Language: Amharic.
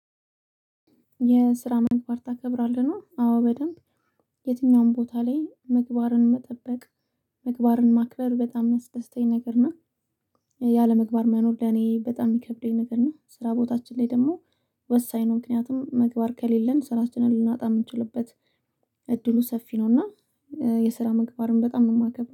የስራ ምግባር ታከብራለህ ነው? አዎ በደንብ የትኛውም ቦታ ላይ ምግባርን መጠበቅ ምግባርን ማክበር በጣም የሚያስደስተኝ ነገር ነው። ያለምግባር መኖር ለኔ በጣም ይከብደኝ ነበር። እና ስራ ቦታችን ላይ ደግሞ ወሳኝ ነው። ምክንያቱም ምግባር ከሌለን ስራችንን ልናጣ የምንችልበት እድሉ ሰፊ ነው። እና የስራ ምግባርን በጣም ነው የማከብረው